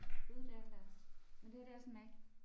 Gud det er den da også men det her det også en Mac